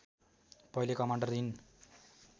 पहिले commander in